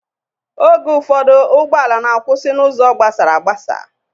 Oge ụfọdụ ụgbọala na-akwụsị n'ụzọ gabsara agbasa.